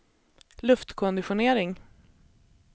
luftkonditionering